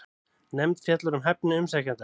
Nefnd fjallar um hæfni umsækjenda